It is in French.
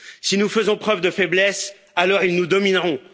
Si nous faisons preuve de faiblesse, alors ils nous domineront.